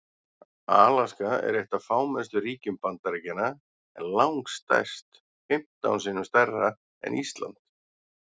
Alaska er eitt af fámennustu ríkjum Bandaríkjanna en langstærst, fimmtán sinnum stærra en Ísland.